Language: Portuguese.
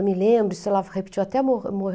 Eu me lembro, repetiu até mo